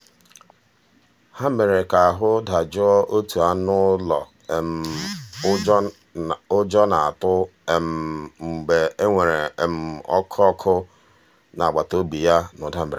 ha mere ka ahụ dajụọ otu anụ ụlọ ụjọ um na-atụ mgbe e weere um ọkụ ọkụ n'agbataobi ya na ụda mberede.